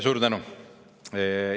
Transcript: Suur tänu!